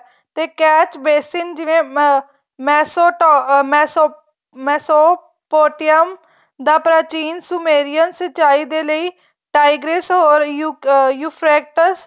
ਤੇ catch basin ਜਿਵੇਂ ਅਹ ਮੈਸੋ ਪੋ ਮੈਸੋ ਪੋਟਿਅਮ ਦਾ ਪ੍ਰਾਚੀਨ ਸੁਮੇਰਿਆਂ ਸਿਚਾਈ ਦੇ ਲਈ